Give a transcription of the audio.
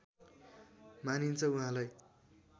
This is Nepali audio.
मानिन्छ उहाँलाई